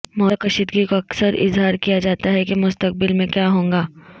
موجودہ کشیدگی کو اکثر اظہار کیا جاتا ہے کہ مستقبل میں کیا ہوگا